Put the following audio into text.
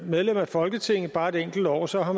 medlem af folketinget bare et enkelt år så har